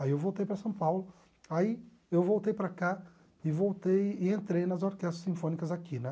Aí eu voltei para São Paulo, aí eu voltei para cá e voltei e entrei nas orquestras sinfônicas aqui, né?